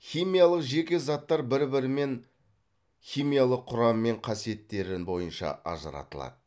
химиялық жеке заттар бір бірімен химиялық құрамы мен қасиеттерін бойынша ажыратылады